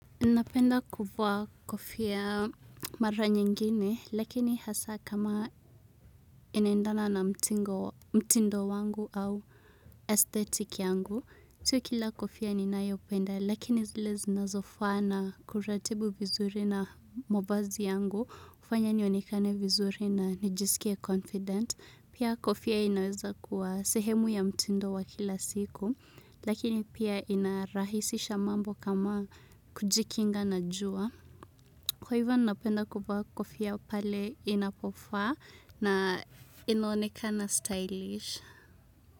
Napenda kuvaa kofia mara nyingine, lakini hasa kama inaendana na mtindo wangu au aesthetic yangu. Si kila kofia ninayopenda, lakini zile zinazofana kuratibu vizuri na mavazi yangu, hufanya nionekane vizuri na nijisikie confident. Pia kofia inaweza kuwa sehemu ya mtindo wa kila siku, lakini pia inarahisisha mambo kama kujikinga na jua. Kwa hivyo napenda kuvaa kofia pale inapofaa na inaonekana stylish.